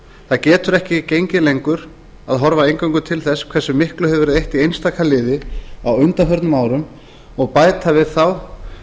það getur ekki gengið lengur að horfa eingöngu til þess hversu miklu hefur verið eytt í einstaka liði á undanförnum árum og bæta við þá